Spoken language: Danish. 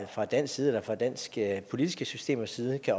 fra dansk side eller fra danske politiske systemers side kan